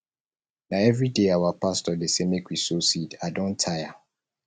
na everyday our pastor dey say make we sow seed i don tire